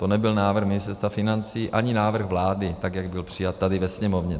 To nebyl návrh Ministerstva financí ani návrh vlády, tak jak byl přijat tady ve Sněmovně.